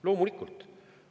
Loomulikult!